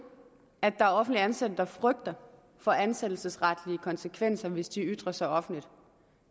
at der er offentligt ansatte der frygter for ansættelsesretlige konsekvenser hvis de ytrer sig offentligt